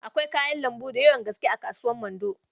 Akwai kayan lambu d yawan gaske a kasuwar Mando